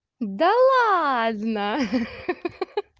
да ладно ха-ха-ха